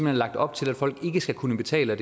er lagt op til at folk ikke skal kunne betale